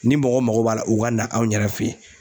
Ni mɔgɔ mago b'a la u ka na anw yɛrɛ fɛ yen.